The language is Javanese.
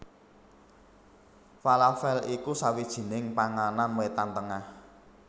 Falafèl iku sawijining panganan Wétan Tengah